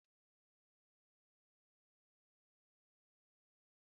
Ahụrụ m otú i si kọọ ilu ahụ n'anya